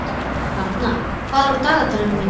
Aran, hvað er á dagatalinu mínu í dag?